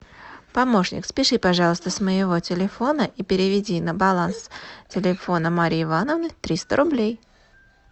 помощник спиши пожалуйста с моего телефона и переведи на баланс телефона марии ивановны триста рублей